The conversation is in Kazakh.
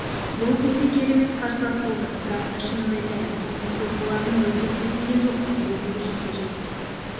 брук өте керемет қарсылас болды бірақ та шынымды айтайын оның соққыларын мүлде сезген жоқпын бүгінгі жекпе-жек